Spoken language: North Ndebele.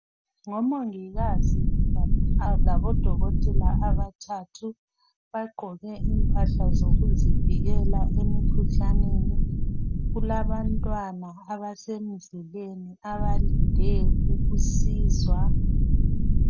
Ngomongikazi labodokotela abathathu. Bagqoke impahla zokuzivikela emkhuhlaneni. Kulabantwana abasemuzileni abalinde ukusizwa.